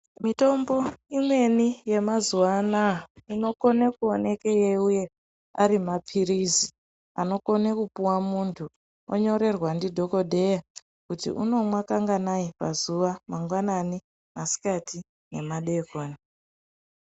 Mitombo imweni yemazuvaanaya inokone kuoneke yeiuya ari mapirizi anokone kupuwa muntu onyorerwa ndidhokodheya kuti unomwa nganganai pazuva mangwanani, masikati nemadekoni.